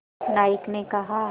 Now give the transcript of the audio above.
नायक ने कहा